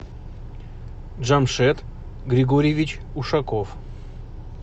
джамшед григорьевич ушаков